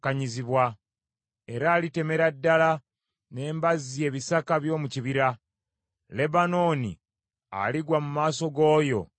Era alitemera ddala n’embazzi ebisaka by’omu kibira; Lebanooni aligwa mu maaso g’oyo Ayinzabyonna.